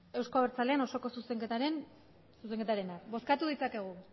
euzko abertzaleen osoko zuzenketarenak bozkatu ditzakegu